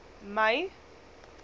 mei